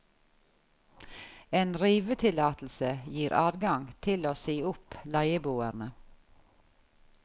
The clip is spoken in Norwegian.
En rivetillatelse gir adgang til å si opp leieboerne.